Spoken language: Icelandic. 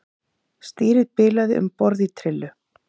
Stýrið bilaði um borð í trillu